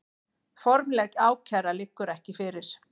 Formleg ákæra liggur ekki fyrir